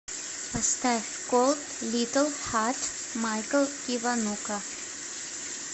поставь колд литл харт майкл киванука